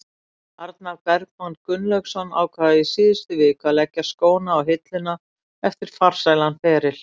Arnar Bergmann Gunnlaugsson ákvað í síðustu viku að leggja skóna á hilluna eftir farsælan feril.